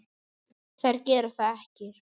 Þær gera það ekki.